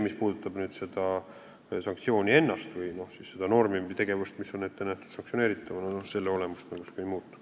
Mis puudutab seda sanktsiooni ennast või seda normi või tegevust, mis on ette nähtud sanktsioneeritavana, siis selle olemus tõenäoliselt ei muutu.